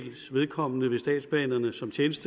synes